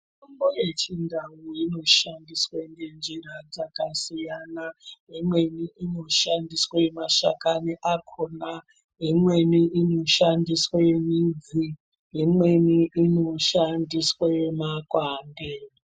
Mitombo yechindau inoshandiswe ngenjira dzakasiyana. Imweni inoshandiswe mashakani akona, imweni inoshandiswe midzi. Imweni inoshandiswe makwande.